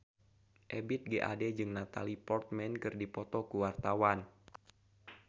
Ebith G. Ade jeung Natalie Portman keur dipoto ku wartawan